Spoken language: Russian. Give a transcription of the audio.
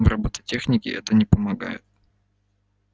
в роботехнике это не помогает